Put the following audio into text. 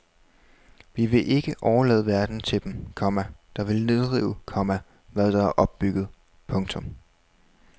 Vi vil ikke overlade verden til dem, komma der vil nedrive, komma hvad der er opbygget. punktum